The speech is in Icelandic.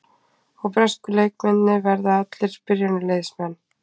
Og bresku leikmennirnir verða allir byrjunarliðsmenn?